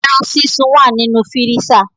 Eran sisun wa ninu firisa